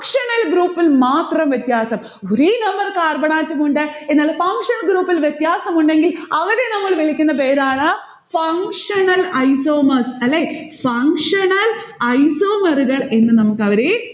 funtional group ൽ മാത്രം വ്യത്യാസം. ഒരേ number carbon atom ഉണ്ട്. എന്നാൽ functional group ൽ വ്യത്യാസം ഉണ്ടെങ്കിൽ അവരെ നമ്മൾ വിളിക്കുന്ന പേരാണ് functional isomers അല്ലെ? functional isomer കൾ എന്ന് നമുക്കവരെ